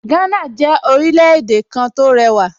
Gánà jẹ́ orílẹ̀-èdè kan tó lẹ́wà